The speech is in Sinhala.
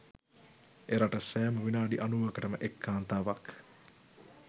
එරට සෑම විනාඩි අනූවකටම එක් කාන්තාවක්